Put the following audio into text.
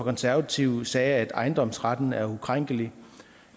konservative sagde at ejendomsretten er ukrænkelig